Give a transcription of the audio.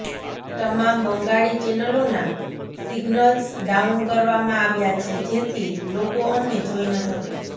તમામ બંગાળી ચેનલોના signals down કરવામાં આવ્યા છે જેથી લોકો અમને જોઇ ન શકે